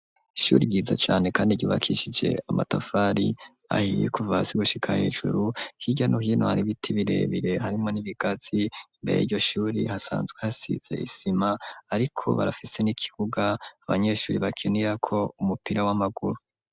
Ishure ryiza cane kandi ryubakishije amatafari ahiye kuva hasi gushika hejuru, hirya no hino hari ibiti birebire, harimwo n'ibigazi, imbere y'iryo shure hasanzwe hasize isima ariko barafise n'ikibuga abanyeshure bakinirako umupira w'amaguru.